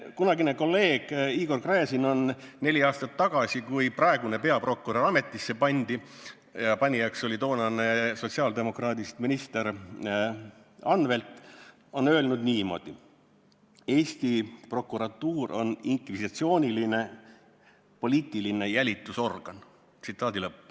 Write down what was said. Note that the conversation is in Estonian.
Kunagine kolleeg Igor Gräzin on neli aastat tagasi, kui praegune peaprokurör ametisse pandi, ja panijaks oli toonane sotsiaaldemokraadist minister Anvelt, öelnud niimoodi: "Eesti prokuratuur on inkvisitsiooniline poliitiline jälitusorgan.